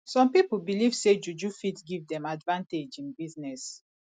some pipo believe say juju fit give dem advantage in business